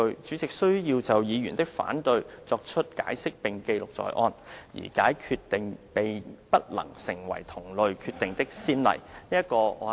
主席須要就議員的反對作出解釋並記錄在案，而該決定並不能成為同類決定的先例。